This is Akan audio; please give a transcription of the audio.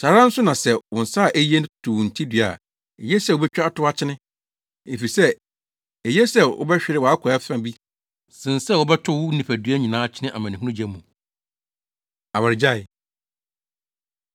Saa ara nso na sɛ wo nsa a eye to wo hintidua a, eye sɛ wubetwa atow akyene. Efisɛ eye sɛ wobɛhwere wʼakwaa fa bi sen sɛ wɔbɛtow wo nipadua nyinaa akyene amanehunu gya mu. Awaregyae